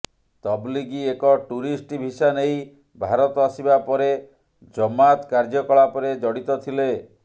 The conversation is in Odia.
ତବଲିଗୀ ଏକ ଟୁରିଷ୍ଟ ଭିସା ନେଇ ଭାରତ ଆସିବା ପରେ ଜମାତ କାର୍ଯ୍ୟକଳାପରେ ଜଡ଼ିତ ଥିଲେ